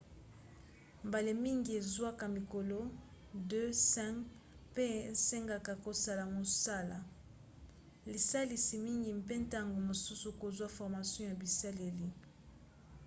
mbala mingi ezwaka mikolo 2-5 mpe esengaka kosala mosala lisalisi mingi mpe ntango mosusu kozwa formation ya bisaleli